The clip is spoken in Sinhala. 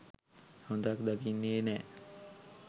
හොඳක් දකින්නේ නෑ.